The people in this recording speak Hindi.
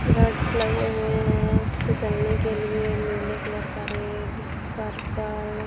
रोड्स लगे हुए हैं फिसलने के लिए नीले कलर का रेड पर्पल --